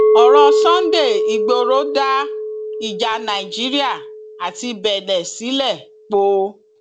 ọrọ sunday igboro dá ìjà nàìjíríà àti benne sílẹ póò